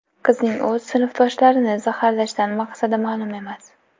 Qizning o‘z sinfdoshlarini zaharlashdan maqsadi ma’lum emas.